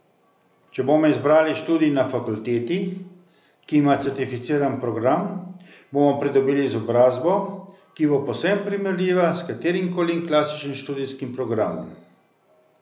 Če bomo izbrali študij na fakulteti, ki ima certificiran program, bomo pridobili izobrazbo, ki bo povsem primerljiva s katerimkoli klasičnim študijskim programom.